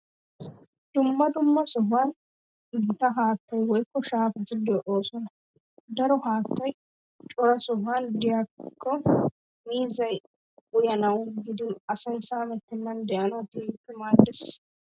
Dumma dumma sohuwan gitaa haattay woykko shaafati de'oosona. Daro haattay cora sohuwan de'ikko miizzay uyanawu gidin asay saamettennan de'anawu keehippe maaddees.